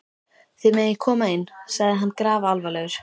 Þið megið koma inn, sagði hann grafalvarlegur.